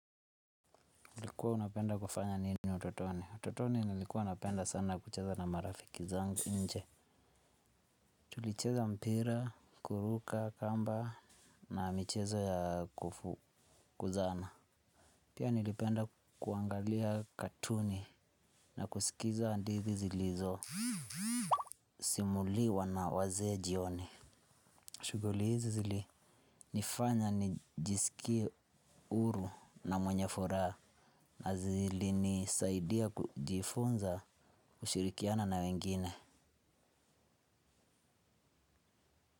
Ulikuwa unapenda kufanya nini utotoni? Utotoni nilikuwa napenda sana kucheza na marafiki zangu nje. Tulicheza mpira, kuruka, kamba na michezo ya kufukuzana. Pia nilipenda kuangalia katuni na kusikiza hadithi zilizo simuliwa na waze jioni. Shughuli hizi zilinifanya nijisikie huru na mwenye furaha. Na zilinisaidia kujifunza kushirikiana na wengine.